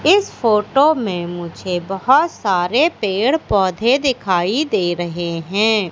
इस फोटो मे मुझे बहोत सारे पेड़ पौधे दिखाई दे रहे है।